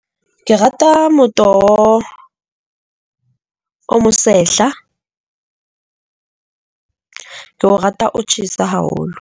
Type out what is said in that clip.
Ke rata motoho, o mo sehla, ke o rata o tjhesa haholo.